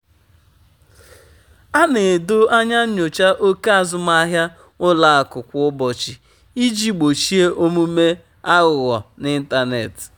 a na-edo anya nyocha oke azụmahịa ụlọ akụ kwa ụbọchị iji gbochie omume aghụghọ n'ịntanetị.